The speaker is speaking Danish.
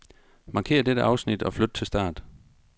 Markér dette afsnit og flyt til start.